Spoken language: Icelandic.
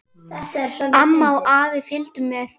Amma og afi fylgdu með.